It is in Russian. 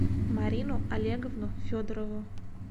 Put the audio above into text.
марину олеговну федорову